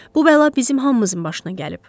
Bu bəla bizim hamımızın başına gəlib.